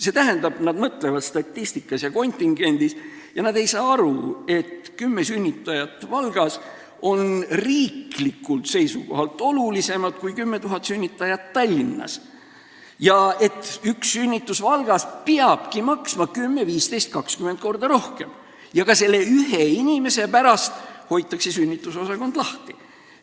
See tähendab, nad mõtlevad statistika ja kontingendi põhjal ega saa aru, et 10 sünnitajat Valgas on riiklikult seisukohalt olulisemad kui 10 000 sünnitajat Tallinnas ja et üks sünnitus Valgas peabki maksma 10, 15 ja 20 korda rohkem ja ka selle ühe inimese pärast tuleb sünnitusosakond lahti hoida.